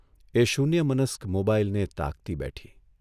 એ શૂન્યમનસ્ક મોબાઇલને તાકતી બેઠી.